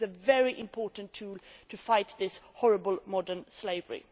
This is a very important tool to fight this horrible modern slavery.